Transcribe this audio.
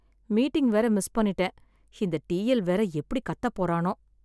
Meeting வேற miss பண்ணிட்டேன் இந்த டிஎல் வேற எப்படி கத்த போறானோ?